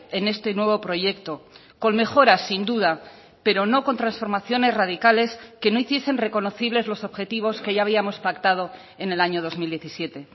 en este nuevo proyecto con mejoras sin duda pero no con transformaciones radicales que no hiciesen reconocibles los objetivos que ya habíamos pactado en el año dos mil diecisiete